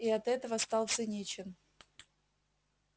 и от этого стал циничен